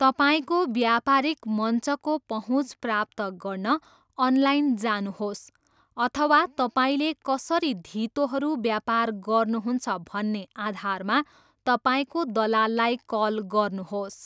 तपाईँको व्यापारिक मञ्चको पहुँच प्राप्त गर्न अनलाइन जानुहोस् अथवा तपाईँले कसरी धितोहरू व्यापार गर्नुहुन्छ भन्ने आधारमा तपाईँको दलाललाई कल गर्नुहोस्।